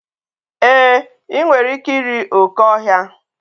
E, I nwere ike iri oké ọhịa.